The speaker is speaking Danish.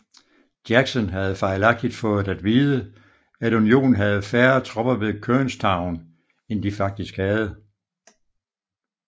Jackson havde fejlagtigt fået at vide at Unionen havde færre tropper ved Kernstown end de faktisk havde